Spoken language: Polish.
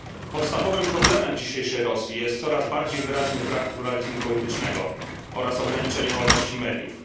Podstawowym problemem dzisiejszej Rosji jest coraz bardziej wyraźny brak pluralizmu politycznego oraz ograniczenie wolności mediów.